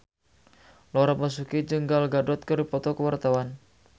Laura Basuki jeung Gal Gadot keur dipoto ku wartawan